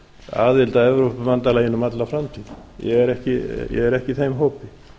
aðild að evrópubandalaginu um alla framtíð ég er ekki í þeim hópi